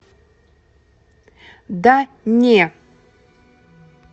да не